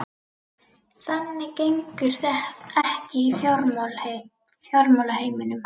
Þannig gengur það ekki í fjármálaheiminum.